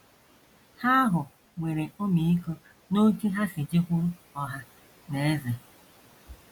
Ha ahụ nwere ọmịiko n’otú ha si jekwuru ọha na eze.